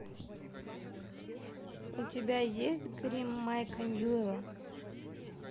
у тебя есть гримм майка ньюэлла